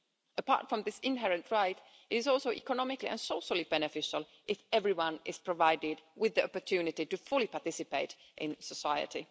Apart from this inherent right, it is also economically and socially beneficial if everyone is provided with the opportunity to fully participate in society.